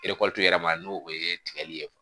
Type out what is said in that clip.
yɛrɛ ma n'o o ye tigɛli ye